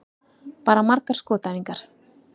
Bara margar skotæfingar.